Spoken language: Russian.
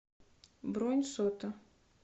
бронь сота